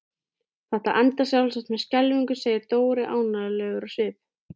Þetta endar sjálfsagt með skelfingu segir Dóri ánægjulegur á svip.